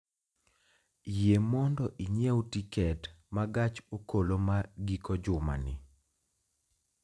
yie mondo inyiew tiket ma gach okoloma giko juma ni